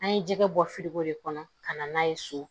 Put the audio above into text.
An ye jɛgɛ bɔ firigo de kɔnɔ ka na n'a ye so